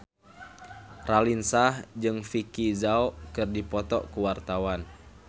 Raline Shah jeung Vicki Zao keur dipoto ku wartawan